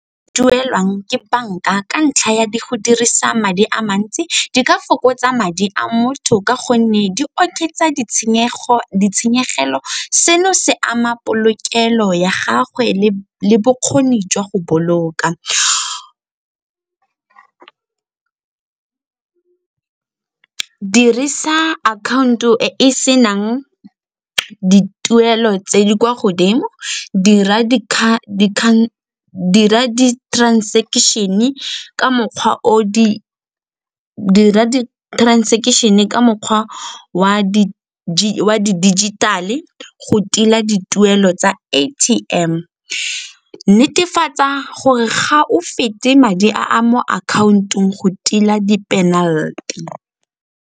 Duelwang ke banka ka ntlha ya go dirisa madi a mantsi di ka fokotsa madi a motho ka gonne di oketsa ditshenyegelo. Seno se ama polokelo ya gagwe le bokgoni jwa go boloka. Dirisa account-o e e senang dituelo tse di kwa godimo, dira di-transaction-e ka mokgwa wa di-digital-e go tila dituelo tsa A_T_M, netefatsa gore ga o fete madi a a mo akhaontong go tila di-penalty.